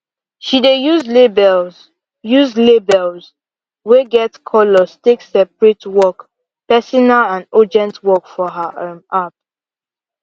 she dey use labels use labels wey get colors take separate work personal and urgent work for her um app